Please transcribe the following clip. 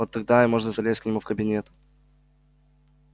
вот тогда и можно залезть к нему в кабинет